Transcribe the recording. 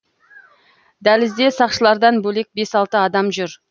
дәлізде сақшылардан бөлек бес алты адам жүр